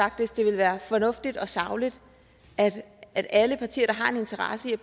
faktisk det vil være fornuftigt og sagligt at alle partier der har en interesse i at